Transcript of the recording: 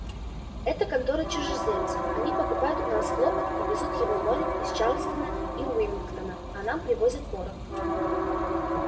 это конторы чужеземцев они покупают у нас хлопок и везут его морем из чарльстона и уимингтона а нам привозят порох